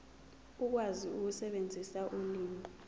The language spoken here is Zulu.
ukwazi ukusebenzisa ulimi